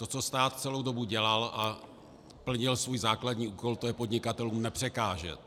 To, co stát celou dobu dělal, a plnil svůj základní úkol, to je podnikatelům nepřekážet.